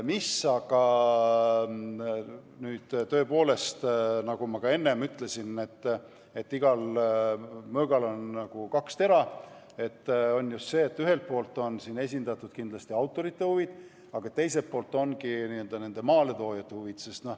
Nüüd aga, tõepoolest, nagu ma ka enne ütlesin, see on nagu kahe teraga mõõk – ühelt poolt on siin esindatud kindlasti autorite huvid, aga teiselt poolt on maaletoojate huvid.